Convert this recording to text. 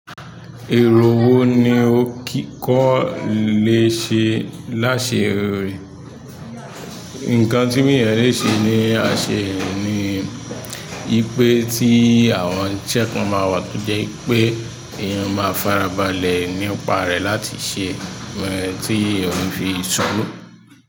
Èrò wo ni o kíkó lè ṣe láṣẹ èrò? Nǹkan tí wọ́n yẹn lè ṣe ní àṣe rin ni wípé tí àwọn iṣẹ́ kan máa wà to jẹ́ wípé èèyàn máa farabalẹ̀ nípa rẹ̀ láti ṣe ohun tí òun fi sọ̀rọ̀.